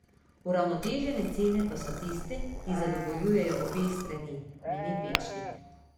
Uravnotežene cene pa so tiste, ki zadovoljujejo obe strani, meni Pečnik.